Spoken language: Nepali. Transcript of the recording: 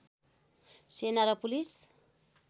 सेना र पुलिस